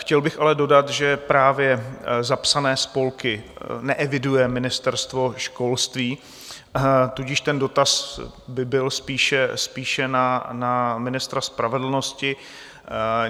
Chtěl bych ale dodat, že právě zapsané spolky neeviduje Ministerstvo školství, tudíž ten dotaz by byl spíše na ministra spravedlnosti.